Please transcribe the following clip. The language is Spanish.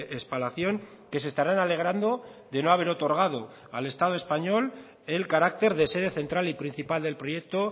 espalación que se estarán alegrando de no haber otorgado al estado español el carácter de sede central y principal del proyecto